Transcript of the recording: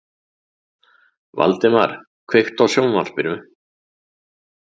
Valdemar, kveiktu á sjónvarpinu.